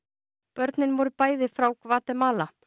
börnin voru bæði frá Gvatemala